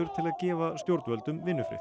til að gefa stjórnvöldum vinnufrið